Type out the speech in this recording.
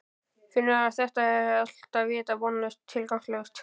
Finnur að þetta er allt vita vonlaust og tilgangslaust.